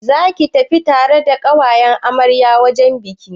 Zaka tafi tare da ƙawayen amaryar wajen bikin?